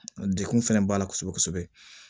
Degun fɛnɛ b'a la kosɛbɛ kosɛbɛ